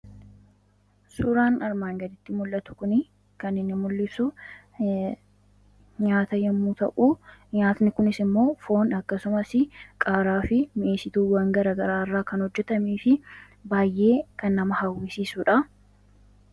Suuraan armaan gaditti mul'atu kun kan inni mul'isu nyaata yemmuu ta'u, nyaati kunisimmoo foon akkasumasi qaaraafi mi'eessituuwwaan garagaraa kan hojjatameefi baayyee kan nama hawwisiisudha.